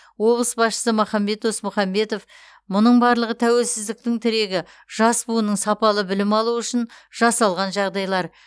облыс басшысы махамбет досмсұхамбетов мұның барлығы тәуелсіздіктің тірегі жас буынның сапалы білім алуы үшін жасалған жағдайлар